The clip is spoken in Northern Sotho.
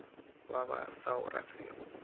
ba ba sa o ratego